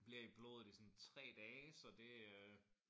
Bliver i blodet is ådan 3 dage så det øh